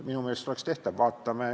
Minu meelest oleks see tehtav.